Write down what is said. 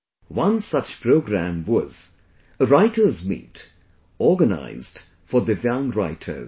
One such program was 'Writers' Meet' organized for Divyang writers